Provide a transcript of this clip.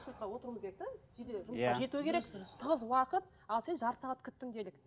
жету керек тығыз уақыт ал сен жарты сағат күттің делік